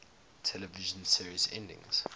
television series endings